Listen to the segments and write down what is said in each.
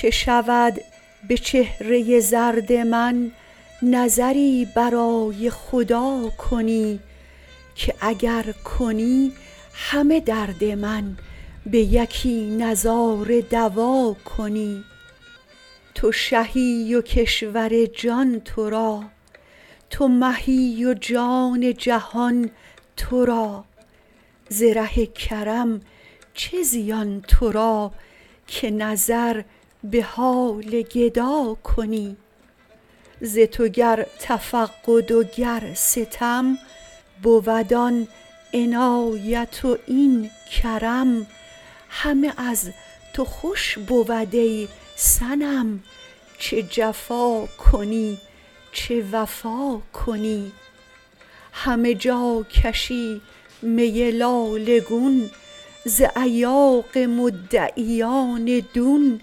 چه شود به چهره زرد من نظری برای خدا کنی که اگر کنی همه درد من به یکی نظاره دوا کنی تو شهی و کشور جان تو را تو مهی و جان جهان تو را ز ره کرم چه زیان تو را که نظر به حال گدا کنی ز تو گر تفقد و گر ستم بود آن عنایت و این کرم همه از تو خوش بود ای صنم چه جفا کنی چه وفا کنی همه جا کشی می لاله گون ز ایاغ مدعیان دون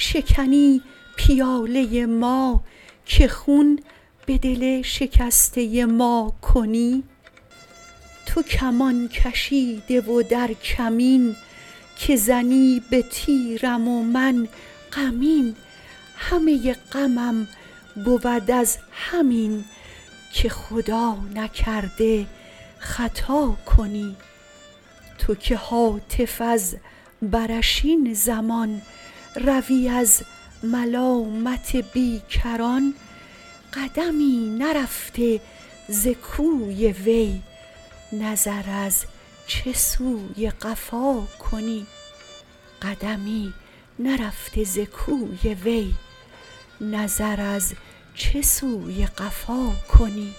شکنی پیاله ما که خون به دل شکسته ما کنی تو کمان کشیده و در کمین که زنی به تیرم و من غمین همه غمم بود از همین که خدا نکرده خطا کنی تو که هاتف از برش این زمان روی از ملامت بیکران قدمی نرفته ز کوی وی نظر از چه سوی قفا کنی